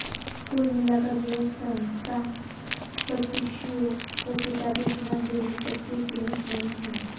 कुल मिलाकर यह संस्थान प्रशिक्षुओं को किताबी ज्ञान देने तक ही सीमित नहीं है